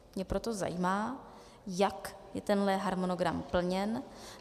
Mě proto zajímá, jak je tenhle harmonogram plněn.